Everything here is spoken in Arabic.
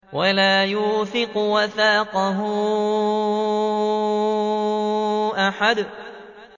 وَلَا يُوثِقُ وَثَاقَهُ أَحَدٌ